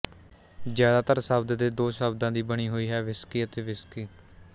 ਜ਼ਿਆਦਾਤਰ ਸ਼ਬਦ ਦੇ ਦੋ ਸ਼ਬਦਾਂ ਦੀ ਬਣੀ ਹੋਈ ਹੈ ਵਿਸਕੀ ਅਤੇ ਵਿਸਕੀ